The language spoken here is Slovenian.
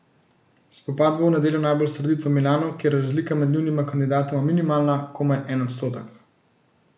Spopad bo v nedeljo najbolj srdit v Milanu, kjer je razlika med njunima kandidatoma minimalna, komaj en odstotek.